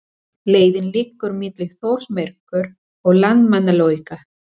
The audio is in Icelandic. Leiðin liggur milli Þórsmerkur og Landmannalauga.